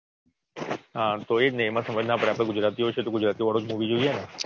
હા તો એજને એમાં સમાજ ના પડે આપડે ગુજરાતીઓ જ છે તો ગુજરાતીઓ વાળું જ Movie ને